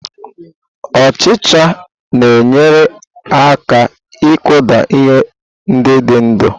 Ọchicha na-enyere aka ịkụda ihe ndị dị ndụ.